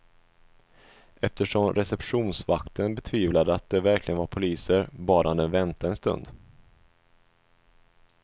Eftersom receptionsvakten betvivlade att de verkligen var poliser bad han dem vänta en stund.